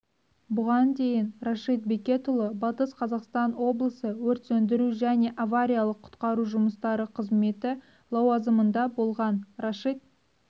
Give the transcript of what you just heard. бұған дейін рашид бекетұлы батыс қазақстан облысы өрт сөндіру және авариялық-құтқару жұмыстары қызметі лауазымында болған рашид